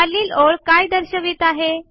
खालील ओळ काय दर्शवित आहे